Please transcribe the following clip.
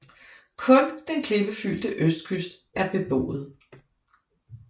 Kun den klippefyldte østkyst er beboet